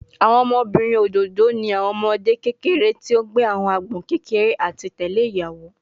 Awọn ọmọbirin ododo ni awọn ọmọde kekere ti o gbe awọn agbọn kekere ati tẹle iyawo